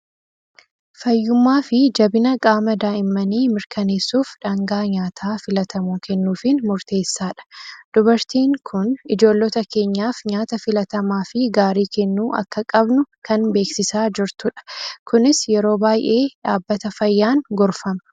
Fayyummaa fi jabina qaama daa'immanii mirkaneessuuf dhaangaa nyaataa filatamoo kennuufiin murteessaadha. Dubartiin kun ijoollota keenyaaf nyaata filatamaa fi gaarii kennuu akka qabnu kan beeksisaa jirtudha. Kunis yeroo baay'ee dhaabbata fayyaan gorfama.